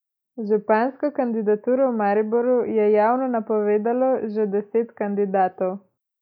Župansko kandidaturo v Mariboru je javno napovedalo že deset kandidatov.